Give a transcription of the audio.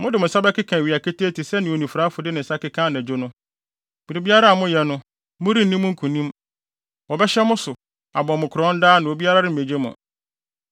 Mode mo nsa bɛkeka awia ketee te sɛnea onifuraefo de ne nsa keka anadwo no. Biribiara a moyɛ no, morenni mu nkonim. Wɔbɛhyɛ mo so, abɔ mo korɔn daa na obiara remmegye mo.